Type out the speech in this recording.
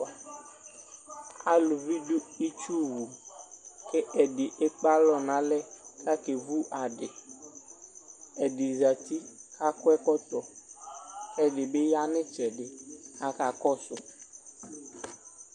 Alʋvi dʋ ituwu kʋ ɛdi ekpe alɔ nʋ alɛ kʋ akevu adi ɛdizati kʋ akɔ ɛkɔtɔ kʋ ɛdibi yanʋ itsɛdi kʋ aka kɔsʋ